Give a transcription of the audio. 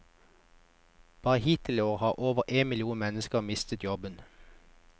Bare hittil i år har over én million mennesker mistet jobben.